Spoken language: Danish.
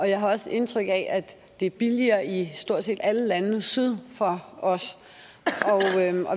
jeg har også indtryk af at det er billigere i stort set alle lande syd for os